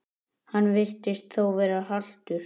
Hann virtist þó vera haltur.